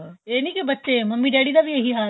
ਏਹ ਨਹੀਂ ਇੱਕਲੇ ਬੱਚੇ ਮੰਮੀ ਡੇਡੀ ਦਾ ਵੀ ਏਹੀ ਹਾਲ ਏ